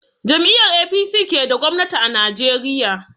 Jam'iyar APC ke da gwamnati a Najeriya.